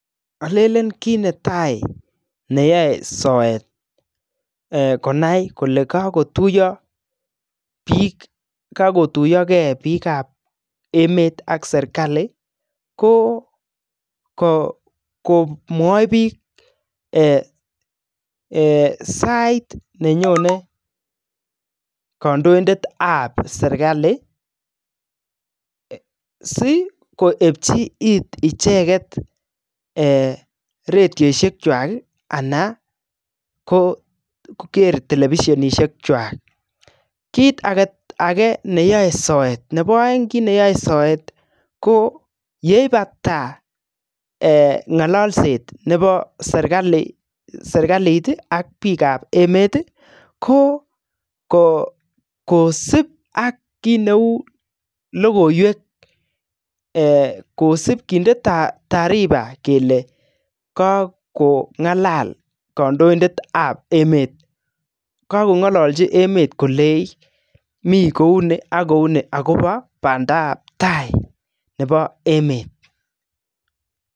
Olelen kit netai neyoe soet konai kole kagotuiyo ge biik ab emet ak serkali ko komwoi biik sait nenyone kandoindet ab serkali si koepchi it icheget radiosiek kwak anan ko kere telvisionishek chwak. Kit age neyoe soet, nebo oeng kit neyoe soet ko yeibata ng'ololset nebo serkalit ak biik ab emet ko kosib ak kit neu logoiywek kosib kinde tariba kele kagong'alal kondoindet ab emet kogong'olochi emet kolenchi mi kou ni ak kou ni agobo bandap tai nebo emet.